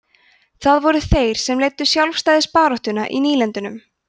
það voru þeir sem leiddu sjálfstæðisbaráttuna í nýlendunum